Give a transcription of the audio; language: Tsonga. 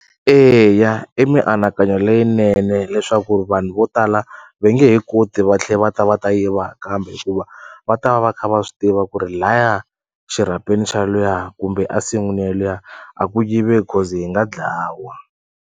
Eya i mianakanyo leyinene leswaku vanhu vo tala ve nge he koti va tlhe va ta va ta yiva kambe hikuva va ta va va kha va swi tiva ku ri laya xirhapeni xa luya kumbe a nsin'wini ya luya a ku yiveki coz hi nga dlawa.